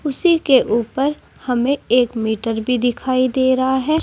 उसी के ऊपर हमें एक मीटर भी दिखाई दे रहा है।